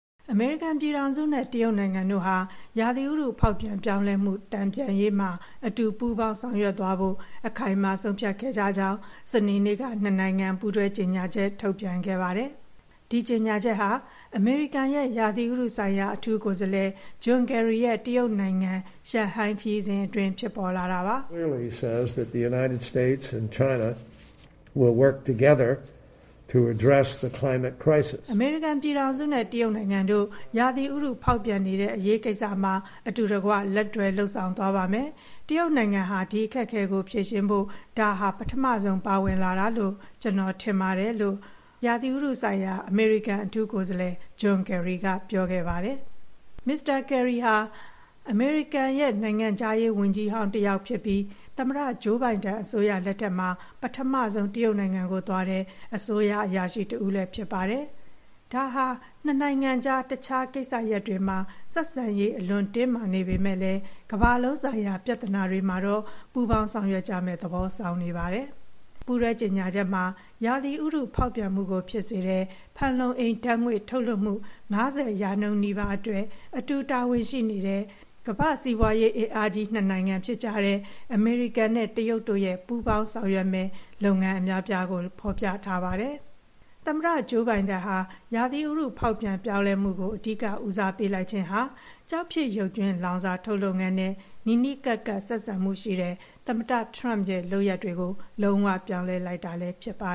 အမေရိကန်ပြည်ထောင်စုနဲ့ တရုတ်နိုင်ငံတို့ဟာ ဥတုရာသီ ဖောက်ပြန်ပြောင်းလဲမှု တန်ပြန်ရေးမှာ အတူပူးပေါင်း ဆောင်ရွက်သွားဖို့ အခိုင်အမာ ဆုံးဖြတ်ခဲ့ကြကြောင်း စနေနေ့က နှစ်နိုင်ငံ ပူးတွဲကြေညာချက် ထုတ်ပြန်ခဲ့ပါတယ်။ ဒီကြေညာချက်ဟာ အမေရိကန်ရဲ့ ရာသီဥတုဆိုင်ရာ အထူးကိုယ်စားလှယ် ဂျွန်ကယ်ရီရဲ့ တရုတ်နိုင်ငံ၊ ရှန်ဟိုင်းခရီးစဉ်အတွင်း ဖြစ်ပေါ်လာတာပါ။ “အမေရိကန်ပြည်ထောင်စုနဲ့ တရုတ်နိုင်ငံတို့ ရာသီဥတု ဖောက်ပြန်နေတဲ့ အရေးကိစ္စမှာ အတူတကွ လက်တွဲလုပ်ဆောင်သွားပါမယ်။ တရုတ်နိုင်ငံဟာ ဒီအခက်အခဲကို ဖြေရှင်းဖို့အတွက် ဒါဟာ ပထမဆုံး ပါဝင်လာတာလို့ ကျနော်ထင်ပါတယ်။” လို့ ရာသီဥတုဆိုင်ရာ အမေရိကန် အထူးကိုယ်စားလှယ် ဂျွန်ကယ်ရီက ပြောသွားတာပါ။ မစ္စတာကယ်ရီဟာ အမေရိကန်ရဲ့ နိုင်ငံခြားရေးဝန်ကြီးဟောင်း တယောက်ဖြစ်ပြီး သမ္မတ ဂျိုးဘိုင်ဒန် အစိုးရလက်ထက်မှာ ပထမဆုံး တရုတ်နိုင်ငံကိုသွားတဲ့ အစိုးရအရာရှိတဦးလည်း ဖြစ်ပါတယ်။ ဒါဟာ နှစ်နိုင်ငံကြား တခြားကိစ္စရပ်တွေမှာ ဆက်ဆံရေး အလွန်တင်းမာနေပေမယ့်လည်း ကမ္ဘာလုံးဆိုင်ရာ ပြဿနာတွေမှာတော့ ပူးပေါင်းဆောင်ရွက်ကြမယ့်သဘော ဆောင်နေပါတယ်။ ပူးတွဲကြေညာချက်မှာ ရာသီဥတုဖောက်ပြန်မှုကို ဖြစ်စေတဲ့ ဖန်လုံအိမ်ဓာတ်ငွေ့ ထုတ်လွှတ်မှု ၅၀ ရာခိုင်နှုန်းနီးပါးအတွက် အတူတာဝန်ရှိနေတဲ့ ကမ္ဘာ့စီးပွါးရေး အင်အားကြီးနှစ်နိုင်ငံဖြစ်တဲ့ အမေရိကန်နဲ့ တရုတ်တို့ရဲ့ ပူးပေါင်းဆောင်ရွက်မယ့် လုပ်ငန်းအများအပြားကို ဖော်ပြခဲ့ပါတယ်။ သမ္မတဂျိုးဘိုင်ဒန်ဟာ ရာသီဥတု ဖောက်ပြန်ပြောင်းလဲမှုကို အဓိက ဦးစားပေးလိုက်ခြင်းဟာ ကျောက်ဖြစ်ရုပ်ကြွင်းလောင်စာထုတ် လုပ်ငန်းနဲ့ နီးနီးကပ်ကပ် ဆက်ဆံမှုရှိတဲ့ သမ္မတထရမ့်ရဲ့ လုပ်ရပ်တွေကို လုံးဝပြောင်းလဲလိုက်တာ ဖြစ်ပါ